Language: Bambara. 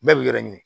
Bɛɛ b'i yɛrɛ ɲini